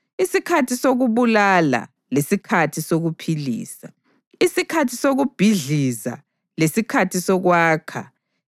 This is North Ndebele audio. isikhathi sokubulala lesikhathi sokuphilisa, isikhathi sokubhidliza lesikhathi sokwakha,